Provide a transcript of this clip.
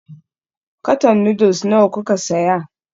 Karton noodles nawa kuka saya?